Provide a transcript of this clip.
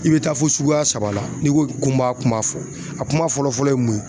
I bɛ taa fo suguya saba la ni n ko ko n m'a kuma fɔ a kuma fɔlɔ fɔlɔ ye mun ye